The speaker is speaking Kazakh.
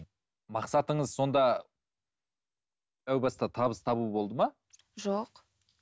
мақсатыңыз сонда әу баста табыс табу болды ма жоқ